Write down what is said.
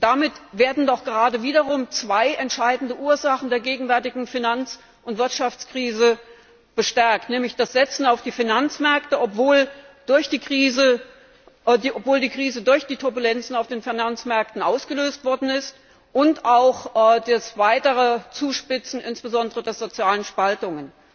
Damit werden doch gerade wieder zwei entscheidende Ursachen der gegenwärtigen Finanz und Wirtschaftskrise bestärkt, nämlich das Setzen auf die Finanzmärkte, obwohl die Krise durch die Turbulenzen auf den Finanzmärkten ausgelöst worden ist, und auch das weitere Zuspitzen insbesondere der sozialen Spaltungen.